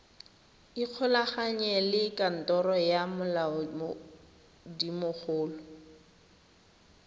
ikgolaganye le kantoro ya molaodimogolo